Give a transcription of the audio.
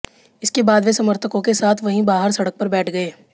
इसके बाद वे समर्थकों के साथ वहीं बाहर सड़क पर बैठ गए